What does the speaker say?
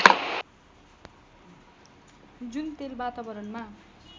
जुन तेल वातावरणमा